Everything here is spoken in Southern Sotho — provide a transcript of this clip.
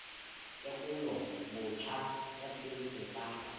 tekolo botjha ya tshebetso tsa